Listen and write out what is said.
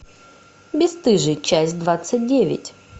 бесстыжие часть двадцать девять